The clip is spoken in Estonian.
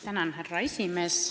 Tänan, härra esimees!